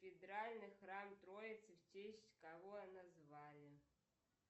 кафедральный храм троицы в честь кого назвали